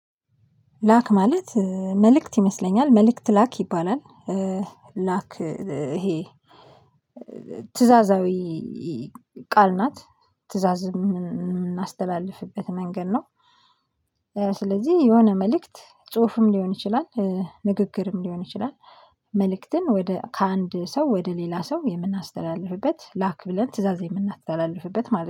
ላክ ማለት መልእክት ይመስለኛል መልእክት ላክ ይባላል ላክ ይሄ ትእዛዛዊ ቃል ናት ትእዛዝ ምናስተላልፍበት መንገድ ነው። ስለዚህ የሆነ መልእክት ጽሁፍም ሊሆን ይችላል። ንግግርም ሊሆን ይችላል። መልእክትን ወደ ከአንድ ሰው ወደ ሌላ ሰው የምናስተላልፍበት ላክ ብለን ትእዛዝ የምናስተላልፍበት ማለት ነው